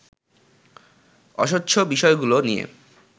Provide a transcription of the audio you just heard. অস্বচ্ছ বিষয়গুলো নিয়ে